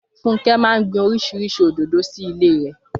Fúnkẹ́ máa gbin oríṣiríṣi òdòdó sílé rẹ̀